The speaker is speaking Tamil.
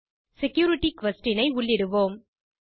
செக்யூரிட்டி குயஸ்ஷன் ஐ உள்ளிடுவோம்